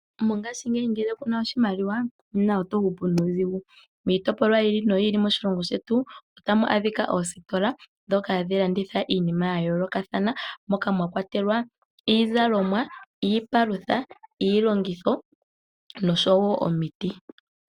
Mongaashingeyi ngele ku na iimaliwa oto hupu nuudhigu miitopolwa yiili no yiili moshilongo shetu ota mu adhika oositola ndhoka hadhi landitha iinima ya yoolokathana moka mwakwatelwa iizalomwa, iipalutha, iilongitho noshowo omiti.